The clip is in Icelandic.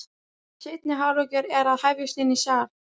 Seinni hálfleikur er að hefjast inni í sal.